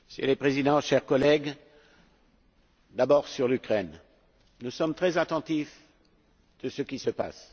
Monsieur le Président, chers collègues, d'abord sur l'Ukraine, nous sommes très attentifs à ce qui se passe.